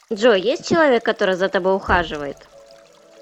джой есть человек который за тобой ухаживает